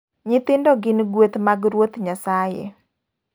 Nyithindo gin gueth mag Ruoth Nyasaye.